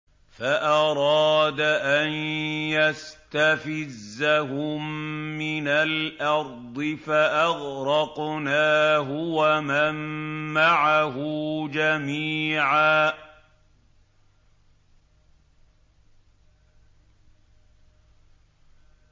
فَأَرَادَ أَن يَسْتَفِزَّهُم مِّنَ الْأَرْضِ فَأَغْرَقْنَاهُ وَمَن مَّعَهُ جَمِيعًا